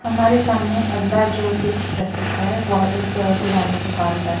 हमारे सामने अगला जो चित्र प्रस्तुत है वह एक किराने दुकान का है।